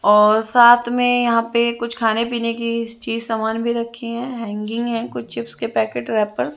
और साथ में यहाँ पे कुछ खाने पीने की चीज़ समान भी रखी है हैंगगिंग हैं कुछ चिप्स के पैकेट रैपर्स --